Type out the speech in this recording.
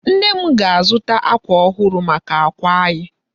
Nne m ga-azụta ákwà ọhụrụ maka àkwà anyị.